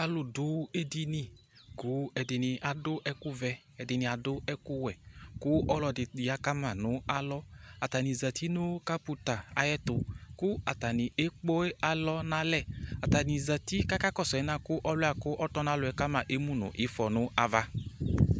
Alʋ ɖʋ eɖini ƙʋ ɛɖɩnɩ aɖʋ ɛƙʋ vɛ, ɛɖɩnɩ aɖʋ ɛƙʋ wɛƘʋ ɔlɔ ƴa ƙa ma nʋ alɔAta nɩ zati nʋ ƙaputa aƴɛtʋ ƙʋ ata nɩ eƙpe alɔ n' alɛAta nɩ zati ƙʋ aƙa ƙɔsʋ alɛnɛ ƙʋ ɔlʋɩ ɔtɔnalɔ ƙa ma emu nʋ ɩfɔɛ n'ava